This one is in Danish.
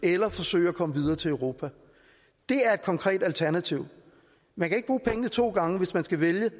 eller forsøge at komme videre til europa det er et konkret alternativ man kan ikke bruge pengene to gange hvis man skal vælge